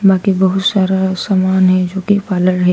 बाकी बहुत सारा समान है जो की पार्लर है।